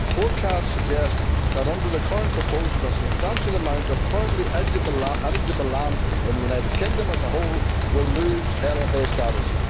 Forecasts suggest that, under the current proposals, a substantial amount of currently eligible land in the United Kingdom as a whole will lose LFA status.